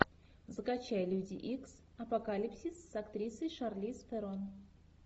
закачай люди икс апокалипсис с актрисой шарлиз терон